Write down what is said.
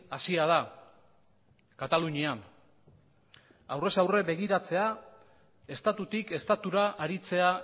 hasia da katalunian aurrez aurre begiratzea estatutik estatura aritzea